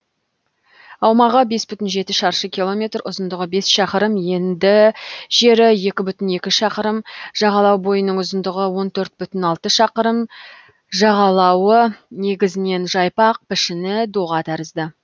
аумағы бес бүтін жеті шаршы километр ұзындығы бес шақырым енді жері екі бүтін екі шақырым жағалау бойының ұзындығы он төрт бүтін алты шақырым жағалауы негізінен жайпақ пішіні доға тәрізді